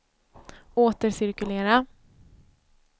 återcirkulera